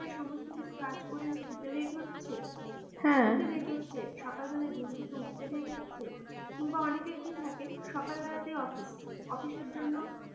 সমস্ত কিছু কাজ করে শুতে late হচ্ছে, হ্যাঁ, সকাল বেলায় ঘুম থেকে উঠতে late হচ্ছে কিংবা অনেকের কি থাকে সকাল বেলায় তাই office office এর জন্যে,